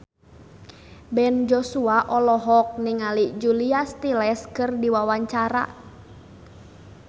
Ben Joshua olohok ningali Julia Stiles keur diwawancara